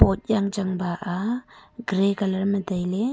pot yanchang ba a gray colour ma tailey.